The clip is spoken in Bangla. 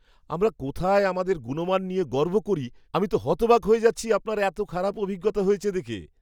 আমরা কোথায় আমাদের গুণমান নিয়ে গর্ব করি, আমি তো হতবাক হয়ে যাচ্ছি আপনার এত খারাপ অভিজ্ঞতা হয়েছে দেখে!